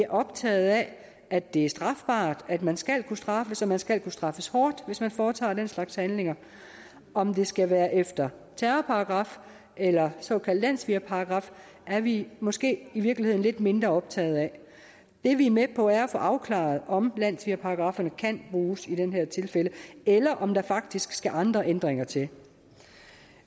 optaget af at det er strafbart at man skal kunne straffes og man skal kunne straffes hårdt hvis man foretager den slags handlinger om det skal være efter terrorparagraf eller såkaldt landssvigerparagraf er vi måske i virkeligheden lidt mindre optaget af det vi er med på er at få afklaret om landssvigerparagrafferne kan bruges i det her tilfælde eller om der faktisk skal andre ændringer til